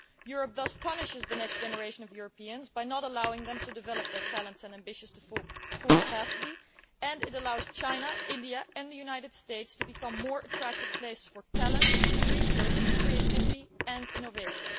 Europe thus punishes the next generation of Europeans by not allowing them to develop their talents and ambitions to their full capacity, and it allows China, India and the United States to become more attractive places for talent, research, creativity and innovation.